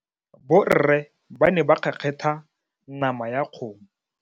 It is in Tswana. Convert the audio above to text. Borre ba ne ba kgekgetha nama ya kgomo.